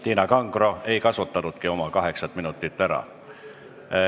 Tiina Kangro ei kasutanudki oma kaheksat minutit ära.